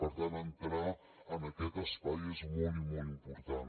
per tant entrar en aquest espai és molt i molt important